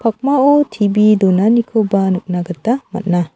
pakmao T_V donanikoba nikna gita man·a.